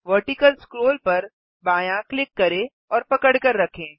vertical scroll पर बायाँ click करें और पकड़कर रखें